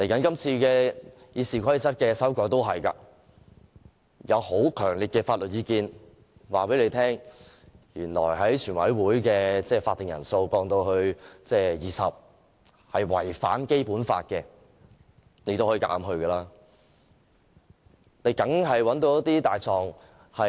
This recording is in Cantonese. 今次修改《議事規則》也一樣，有很強烈的法律意見告訴主席，將全體委員會的法定人數降至20人是違反《基本法》的，但他仍強行這樣做。